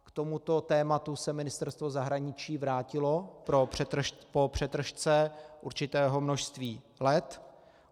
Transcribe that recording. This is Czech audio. K tomuto tématu se Ministerstvo zahraničí vrátilo po přetržce určitého množství let.